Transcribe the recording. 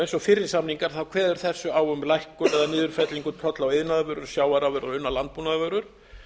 eins og fyrri samningar kveður þessi á um lækkun eða niðurfellingu tolla á iðnaðarvörur sjávarafurðir og unnar landbúnaðarvörur